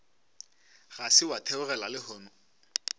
ga se wa theogela lehono